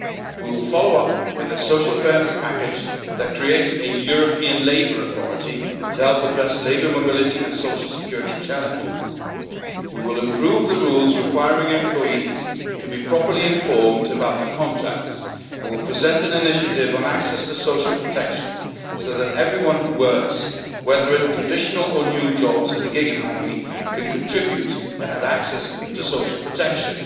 month. We will follow up with a social fairness package that creates a European labour authority to help address labour mobility and social security challenges. We will improve the rules requiring employees to be properly informed about their contracts and will present an initiative on access to social protection so that everyone who works, whether in traditional or new jobs in the gig economy, can contribute and have access to social